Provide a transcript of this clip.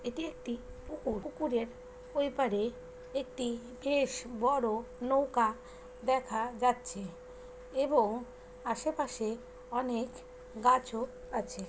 এটি একটি পুকুর। পুকুরের ওই পারে একটি বেশ বড় নৌকা দেখা যাচ্ছে এবং আশেপাশে অনেক গাছও আছে।